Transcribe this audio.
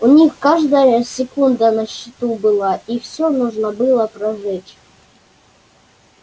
у них каждая секунда на счету была и всё нужно было прожечь